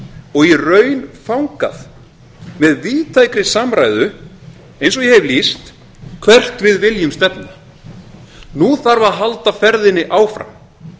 og í raun þangað með víðtækri samræðu eins og ég hef lýst hvert við viljum stefna nú þarf að halda ferðinni áfram